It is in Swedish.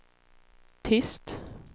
tyst